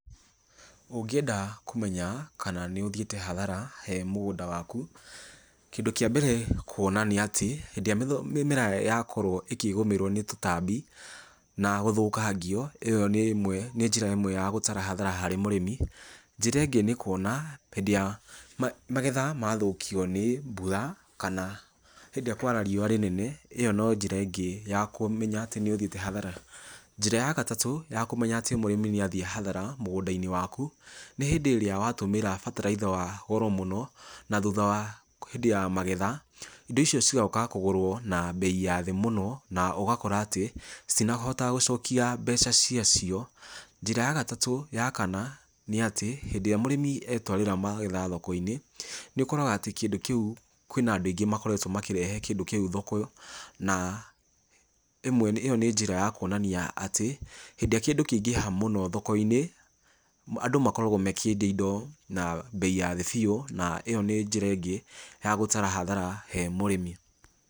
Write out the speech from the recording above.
Ũngĩenda kũmenya kana nĩũthiĩte hathara he mũgũnda waku, kĩndũ kĩa mbere kũona nĩ atĩ hĩndĩ ĩrĩa mĩmera yakorwo ĩkĩgũmĩrwo nĩ tũtambi na gũthũkangio, ĩyo nĩ ĩmwe nĩ njĩra ĩmwe ya gũtara hathara harĩ mũrĩmi, njĩra ĩngĩ nĩ kũona hĩndĩ ya magetha mathũkio nĩ mbura kana hĩndĩ ĩrĩa kwara riũa rĩnene ĩyo no njĩra ĩngĩ ya kũmenya atĩ nĩũthiĩte hathara, njĩra ya gatatũ ya kũmenya atĩ mũrĩmi nĩathiĩ hathara mũgũnda-inĩ waku nĩ hĩndĩ ĩrĩa watũmĩra bataraitha wa goro mũno, na thutha wa hĩndĩ ya magetha indo icio cigoka kũgũrwo na bei ya thĩ mũno, na ũgakora atĩ citinahota gũcokia mbeca ciacio, njĩra ya gatatũ ya kana nĩatĩ hĩndĩ ĩrĩa mũrĩmi etwarĩra magetha thoko-inĩ, nĩũkoraga atĩ kĩndũ kĩu kwĩna andũ aingĩ makoretwo makĩrehe kĩndũ kĩu thoko na ĩmwe ĩyo nĩ njĩra ya kwonania atĩ, hĩndĩ ĩrĩa kĩndũ kĩaingĩha mũno thoko-inĩ andũ makoragwo makĩendia indo na bei ya thĩ biũ, na ĩyo nĩ njĩra ĩngĩ ya gũtara hathara he mũrĩmi.